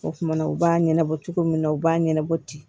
O kumana u b'a ɲɛnabɔ cogo min na u b'a ɲɛnabɔ ten